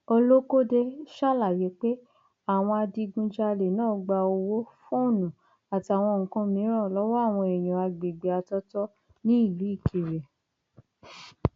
olókóde ṣàlàyé pé àwọn adigunjalè náà gba owó fóònù àtàwọn nǹkan mìíràn lọwọ àwọn èèyàn àgbègbè àtọtọ nílùú ìkirè